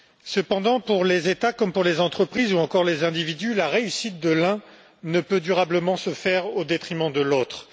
Cependant, pour les États comme pour les entreprises ou encore les individus, la réussite de l'un ne peut durablement se faire au détriment de l'autre.